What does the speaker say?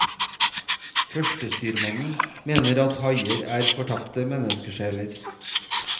Førstestyrmannen mener at haier er fortapte menneskesjeler.